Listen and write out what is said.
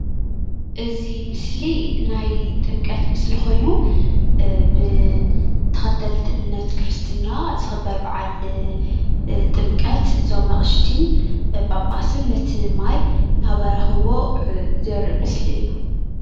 እዚ ምስሊ ናይ ጥምቀት ምሰሊ ኮይኑ ብተከተልቲ እምነት ክርስቲና ዝክበር በዓል ጥምቀት እዞም አቅሽተን ጳጳሳትን ነቲ ማይ እናባረክዎ ዘሪኢ ምስሊ እዩ፡፡